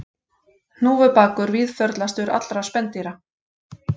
Hnúfubakur víðförlastur allra spendýra